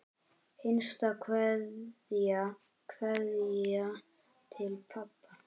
HINSTA KVEÐJA Kveðja til pabba.